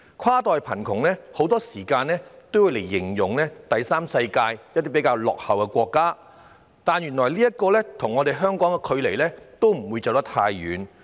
"跨代貧窮"一詞很多時候會用來形容第三世界落後國家的情況，但原來亦離香港不遠。